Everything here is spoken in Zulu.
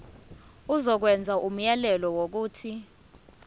izokwenza umyalelo wokuthi